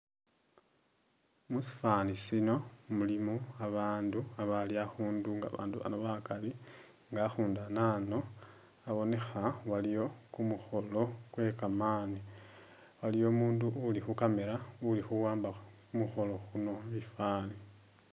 Musifani sino mulimo abandu abali akhundu nga abundu ano abonekha aliwo kumukholo kwekamani, aliwo umundu uli khu'camera ulikhuwamba khumukholo kuno bifani